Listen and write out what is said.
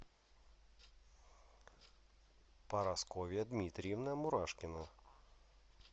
парасковья дмитриевна мурашкина